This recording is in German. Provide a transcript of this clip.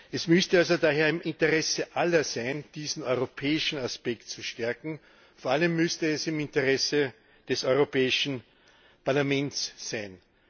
Es müsste also daher im Interesse aller sein, diesen europäischen Aspekt zu stärken, vor allem müsste es im Interesse des Europäischen Parlaments sein.